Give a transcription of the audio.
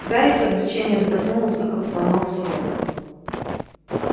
гарри с облегчением вздохнул услыхав звонок с урока